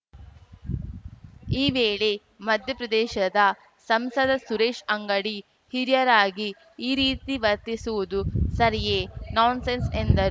ಈ ವೇಳೆ ಮಧ್ಯಪ್ರದೇಶದ ಸಂಸದ ಸುರೇಶ್ ಅಂಗಡಿಹಿರಿಯರಾಗಿ ಈ ರೀತಿ ವರ್ತಿಸುವುದು ಸರಿಯೇ ನಾನ್‌ಸೆನ್ಸ್‌ ಎಂದರು